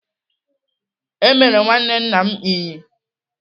Emere nwanne nna m Ínyì.